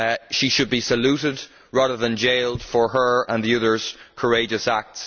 She should be saluted rather than jailed for her and the others' courageous act.